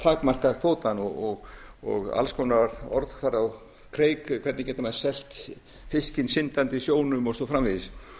takmarka kvótann og alls konar orð fara á kreik hvernig geta menn selt fiskinn syndandi í sjónum og svo framvegis